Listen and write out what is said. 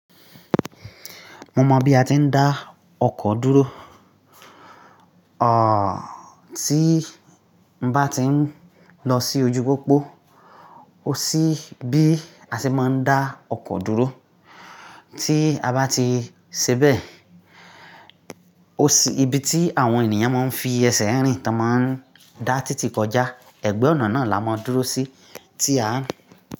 Mo mọ bí a ti ń dá ọkọ̀ dúró. À, tí n bá ti ń lọ sí ojú pópó, ó sí bí a ṣe máa ń dá ọkọ̀ dúró. Tí a bá ti ṣebẹ̀, ó sí ibi tí àwọn ènìyàn máa ń fi ẹsẹ̀ rìn tí wọ́n máa ń dá títì kọjá. Ẹ̀gbẹ́ ọ̀nà náà la máa dúró sí tí à ń.